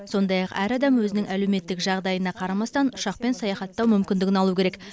сондай ақ әр адам өзінің әлеуметтік жағдайына қарамастан ұшақпен саяхаттау мүмкіндігін алу керек